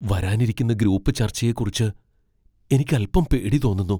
വരാനിരിക്കുന്ന ഗ്രൂപ്പ് ചർച്ചയെക്കുറിച്ച് എനിക്ക് അൽപ്പം പേടി തോന്നുന്നു.